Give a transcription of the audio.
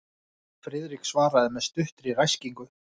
Friðrik svaraði með stuttri ræskingu.